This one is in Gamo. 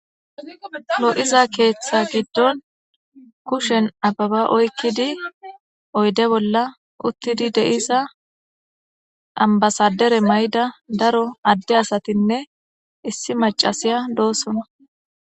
Lo7iza keeththa giddon kushen ababa oykkidi oyde bolla uttidi deiza ambasadere may7da daro adde asatinne issi macasiya doosona.